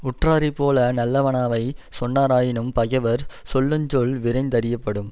உற்றாரைப்போல நல்லவானவை சொன்னாராயினும் பகைவர் சொல்லுஞ்சொல் விரைந்தறியப்படும்